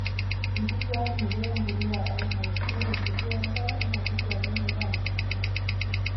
Enkiswakinoto empuliya enkare:Ore empuliya enkare naa keiswakini endaa nabulu.